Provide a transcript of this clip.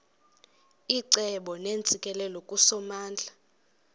icebo neentsikelelo kusomandla